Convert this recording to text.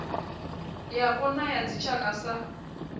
yapo na ya dzitshaka sa